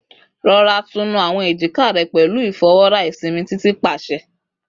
Rọra tunu awọn ejika rẹ pẹlu ifọwọra isinmi Titi paṣẹ